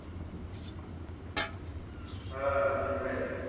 हा मग काय.